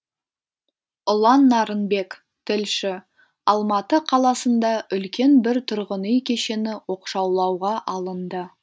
ұлан нарынбек тілші алматы қаласында үлкен бір тұрғын үй кешені оқшаулауға алынды